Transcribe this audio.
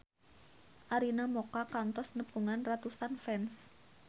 Arina Mocca kantos nepungan ratusan fans